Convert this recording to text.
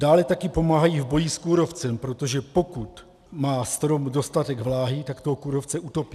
Dále také pomáhají v boji s kůrovcem, protože pokud má strom dostatek vláhy, tak toho kůrovce utopí.